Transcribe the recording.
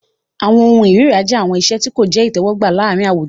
Awọn ohun ìríra jẹ awọn iṣe ti ko jẹ itẹwọgba laarin awujo.